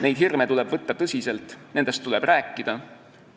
Neid hirme tuleb võtta tõsiselt, nendest tuleb rääkida.